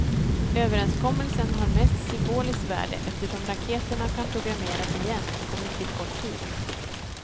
Överenskommelsen har mest symboliskt värde eftersom raketerna kan programmeras igen på mycket kort tid.